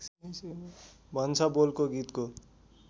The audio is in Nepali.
भन्छ बोलको गीतको